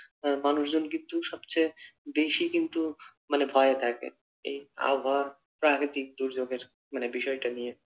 মানুষজন কিন্তু সবচেয়ে বেশি কিন্তু মানে ভয়ে থাকে এই আবহাওয়া প্রাকৃতিক দুর্যোগের মানে বিষয়টা নিয়ে।